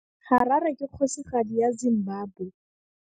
Harare ke kgosigadi ya Zimbabwe.